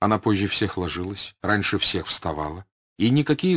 она позже всех ложилась раньше всех встала и никакие